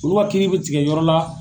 Olu ka kiiri bɛ tigɛ yɔrɔ la